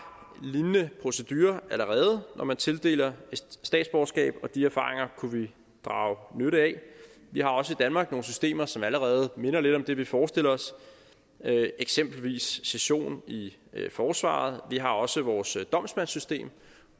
lignende procedurer når man tildeler et statsborgerskab og de erfaringer kunne vi drage nytte af vi har også i danmark nogle systemer som allerede minder lidt om det vi forestiller os eksempelvis sessionen i forsvaret og vi har også vores domsmandssystem